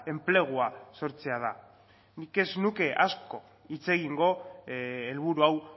enplegua sortzea da nik ez nuke asko hitz egingo helburu hau